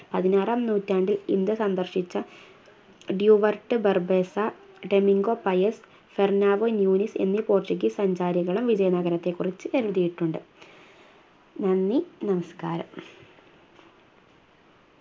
പതിനാറാം നൂറ്റാണ്ടിൽ ഇന്ത്യ സന്ദർശിച്ച Duarte Barbosa Domingo Paes Fernao Nuniz എന്നീ Portuguese അധികാരികളും വിജയ നഗരത്തെക്കുറിച്ച് എഴുതിയിട്ടുണ്ട് നന്ദി നമസ്ക്കാരം.